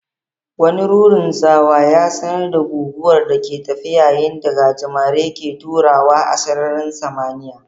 Wani rurin tsawa ya sanar da guguwar da ke tafe yayin da gajimare ke taruwa a sararin sama.